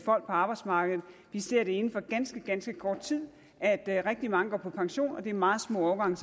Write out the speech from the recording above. arbejdsmarkedet vi ser inden for ganske ganske kort tid at rigtig mange går på pension og at det er meget små årgange